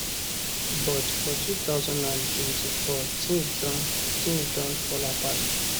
but for 2024 tins don tins don fall apart